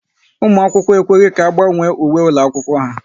Ụmụ akwụkwọ ekweghị ka agbanwe uwe ụlọ akwụkwọ ha